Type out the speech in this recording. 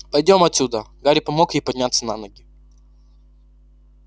пойдём отсюда гарри помог ей подняться на ноги